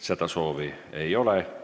Seda soovi ei ole.